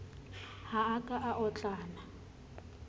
ha a ka a otlana